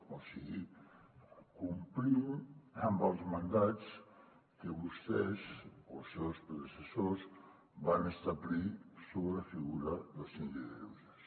o sigui complint amb els mandats que vostès o els seus predecessors van establir sobre la figura del síndic de greuges